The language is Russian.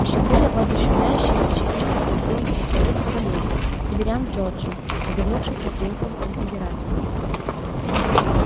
ещё более воодушевляющее впечатление произвёл прорыв кавалерии северян в джорджию обернувшийся триумфом конфедерации